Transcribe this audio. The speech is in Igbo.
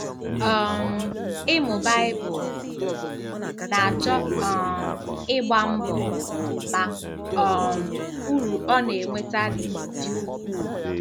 um Ịmụ Baịbụl na-achọ um ịgba mbọ, ma um uru ọ na-enweta dị ukwuu!